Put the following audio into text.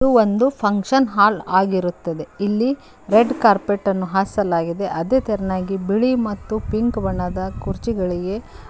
ಒಂದು function hall ಆಗಿರುತ್ತದೆ ಇಲ್ಲಿ ರೆಡ್ ಕಾರ್ಪೆಟ್ ಅನ್ನು ಹಾಸಲಾಗಿದೆ ಅದೆ ತರನಾಗಿ ಬಿಳಿ ಮತ್ತು ಪಿಂಕ್ ಬಣ್ಣದ ಕುರ್ಚಿಗಳಿಗೆ --